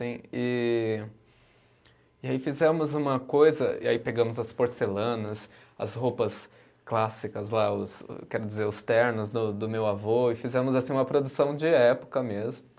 E e aí fizemos uma coisa, e aí pegamos as porcelanas, as roupas clássicas lá, os o, quero dizer os ternos do do meu avô, e fizemos assim uma produção de época mesmo.